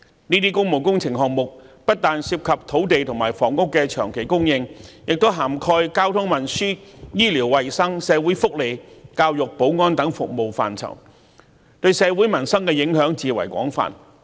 這些工務工程項目不但涉及土地及房屋的長期供應，亦涵蓋交通運輸、醫療衞生、社會福利、教育、保安等服務範疇，對社會民生的影響至為廣泛。